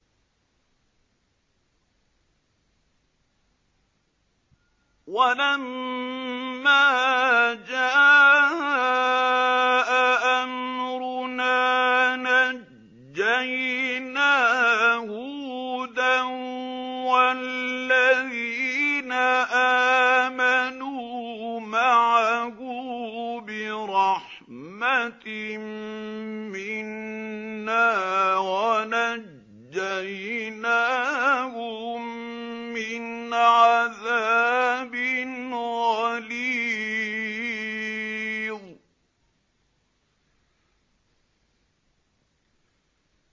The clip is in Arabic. وَلَمَّا جَاءَ أَمْرُنَا نَجَّيْنَا هُودًا وَالَّذِينَ آمَنُوا مَعَهُ بِرَحْمَةٍ مِّنَّا وَنَجَّيْنَاهُم مِّنْ عَذَابٍ غَلِيظٍ